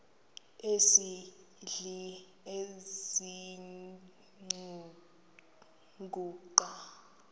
esidl eziny iziguqa